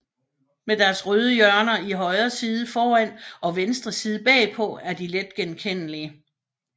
Med deres røde hjørner i højre side foran og venstre side bagpå er de let genkendelige